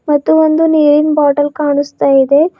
ಮತ್ತು ಒಂದು ನೀರಿನ್ ಬಾಟಲ್ ಕಾಣಸ್ತಾ ಇದೆ.